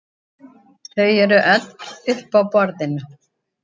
Þau eru öll uppi á borðinu